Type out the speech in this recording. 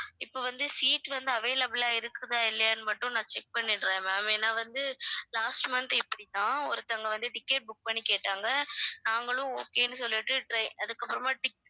இப்ப வந்து seat வந்து available ஆ இருக்குதா இல்லையான்னு மட்டும் நான் check பண்ணிடுறேன் ma'am ஏன்னா வந்து last month இப்படி தான் ஒருத்தவங்க வந்து ticket book பண்ணி கேட்டாங்க நாங்களும் okay ன்னு சொல்லிட்டு try~ அதுக்கப்புறமா tic~